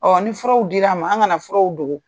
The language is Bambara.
ni furaw dir'an ma, an kana furaw dogo.